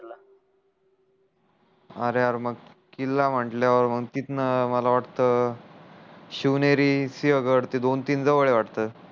अरे यार मग किल्ला म्हटल्यावर तितं मला वाट शिवनेरी सिहगड ते दोन तीन जवड आहे वाट